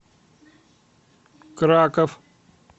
краков